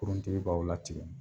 Kuruntigi b'aw latigɛ.